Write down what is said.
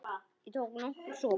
Ég tók nokkra sopa.